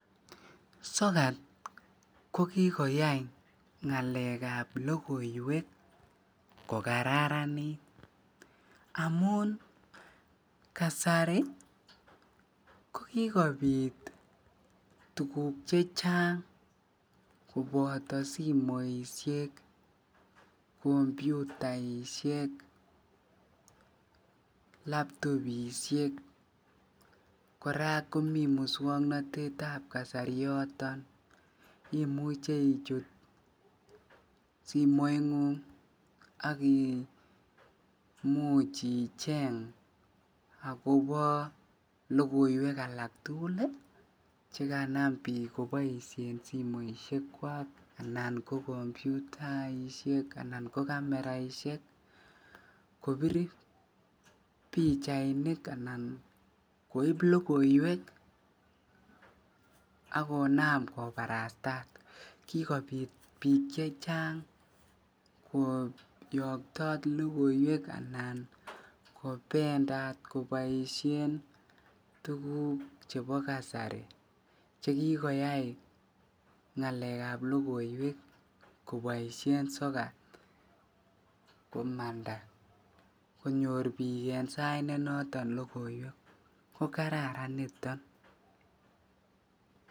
Sokat ko kikoyai ngalekab lokoiwek ko kararanit amun kasari ko kikobit tukuk chechang koboto simoishek, kompyutaishek, laptobishek kora komiten muswoknotetab kasari yoton, imuche ichut simoingung ak imuch icheng akobo lokoiwek alak tukul chekanam biik koboishen simoishekwak anan kompyutaishek anan ko cameraishek kobir pichainik anan koib lokoiwek ak konam kobarastat, kikobit biik chechang koyokto lokoiwek anan kobendat koboishen tukuk chebo kasari chekikoyai ngalekab lokoiwek koboishen sokat komanda konyor biik en sait nenoton lokoiwek ko kararan niton.